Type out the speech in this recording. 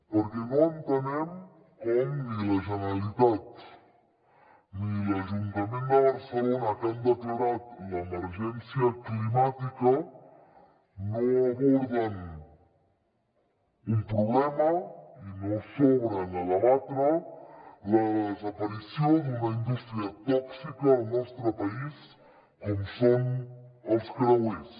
perquè no entenem com ni la generalitat ni l’ajuntament de barcelona que han declarat l’emergència climàtica no aborden un problema i no s’obren a debatre la desaparició d’una indústria tòxica al nostre país com són els creuers